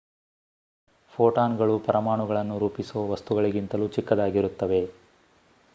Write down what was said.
ಫೋಟಾನ್‌ಗಳು ಪರಮಾಣುಗಳನ್ನು ರೂಪಿಸುವ ವಸ್ತುಗಳಿಗಿಂತಲೂ ಚಿಕ್ಕದಾಗಿರುತ್ತವೆ!